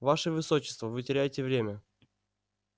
ваше высочество вы теряете время